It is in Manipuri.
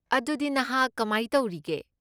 ꯑꯗꯨꯗꯤ, ꯅꯍꯥꯛ ꯀꯃꯥꯏ ꯇꯧꯔꯤꯒꯦ?